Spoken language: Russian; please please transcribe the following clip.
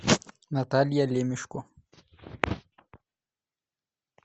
наталья лемешко